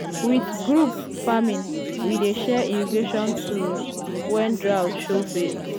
with group um farming we dey share irrigation tools when um drought show face.